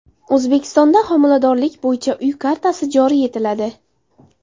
O‘zbekistonda homiladorlik bo‘yicha uy kartasi joriy etiladi.